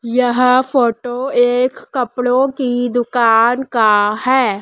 यह फोटो एक कपड़ों की दुकान का है।